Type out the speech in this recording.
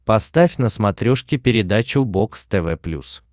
поставь на смотрешке передачу бокс тв плюс